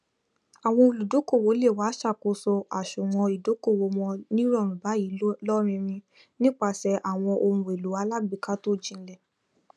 àwọn olùdókòwò le wá ṣàkóso àsùwọn ìdókòwò wọn nírọrùn báyìí lóríìrìn nípasẹ àwọn ohunèlò alágbèéká tó jinlẹ